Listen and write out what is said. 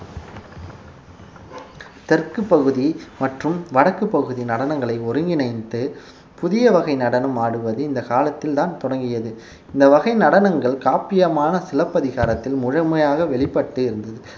தெற்குப் பகுதி மற்றும் வடக்குப் பகுதி நடனங்களை ஒருங்கிணைத்து புதிய வகை நடனம் ஆடுவது இந்த காலத்தில்தான் தொடங்கியது இந்த வகை நடனங்கள் காப்பியமான சிலப்பதிகாரத்தில் முழுமையாக வெளிப்பட்டு இருந்தது